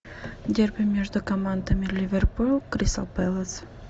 дерби между командами ливерпуль кристал пэлас